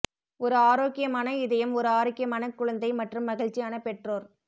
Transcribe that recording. ஒரு ஆரோக்கியமான இதயம் ஒரு ஆரோக்கியமான குழந்தை மற்றும் மகிழ்ச்சியான பெற்றோர்